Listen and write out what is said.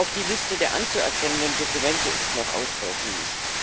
Auch die Liste der anzuerkennenden Dokumente ist noch ausbaufähig.